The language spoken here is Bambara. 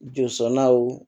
Jɔsɔnnaw